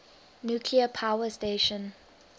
nuclear power station